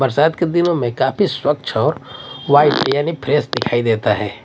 बरसात के दिनों में काफी स्वच्छ और व्हाइट यानी फ्रेश दिखाई देता है।